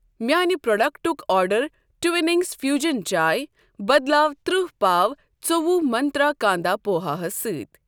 میٛانِہ پروڈکٹُک آرڈر ٹوِنِنٛگس ففیوّجن چاے بدلاو ترہ پاو ژوٚوُہ منٛترٛا کانٛدا پوہا ہس سۭتۍ۔